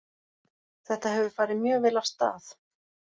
Þetta hefur farið mjög vel af stað.